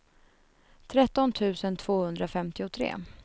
tretton tusen tvåhundrafemtiotre